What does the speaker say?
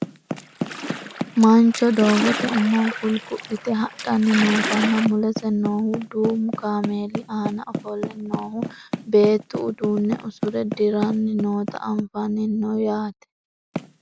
mancho doogote umo gulgu'lite hadhanni nootanna mulese noohu duumu kameeli aana ofolle noohu beettu uduunne usure dirranni noota anfanni no yaate